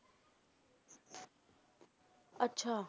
ਅੱਛਾ।